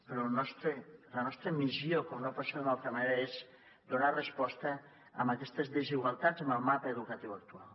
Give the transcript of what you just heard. però la nostra missió com no pot ser d’una altra manera és donar resposta a aquestes desigualtats en el mapa educatiu actual